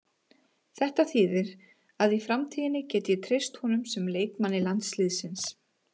Þetta þýðir að í framtíðinni get ég treyst honum sem leikmanni landsliðsins.